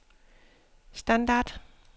standard